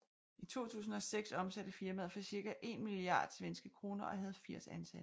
I 2006 omsatte firmaet for cirka 1 milliard SEK og havde 80 ansatte